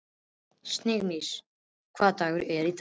Sigurnýjas, hvaða dagur er í dag?